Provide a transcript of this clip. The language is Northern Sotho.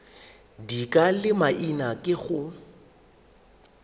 dika le maina ke go